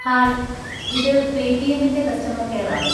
Hi, ഇത് പേയ് റ്റിഎമ്മിൻ്റെ കസ്റ്റമർ കെയർ ആണോ?